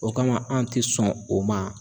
O kama an tɛ sɔn o ma.